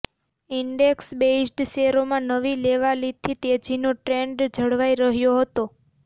index based શેરોમાં નવી લેવાલીથી તેજીનો ટ્રેન્ડ જળવાઈ રહ્યો હતો